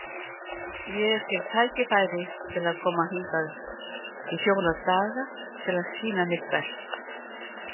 Ég fékk tækifæri til að koma hingað í fjóra daga til að sýna mitt besta.